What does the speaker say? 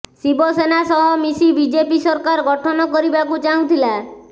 ଶିବସେନା ସହ ମିଶି ବିଜେପି ସରକାର ଗଠନ କରିବାକୁ ଚାହୁଁଥିଲା